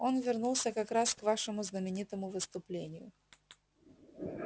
он вернулся как раз к вашему знаменитому выступлению